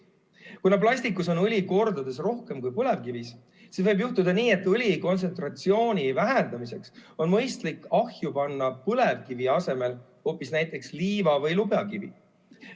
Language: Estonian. Kuna plastikus on õli kordades rohkem kui põlevkivis, siis võib juhtuda, et õli kontsentratsiooni vähendamiseks on mõistlik ahju põlevkivi asemel panna hoopis näiteks liiva- või lubjakivi.